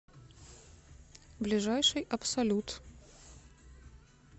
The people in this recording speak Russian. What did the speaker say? ближайший абсолют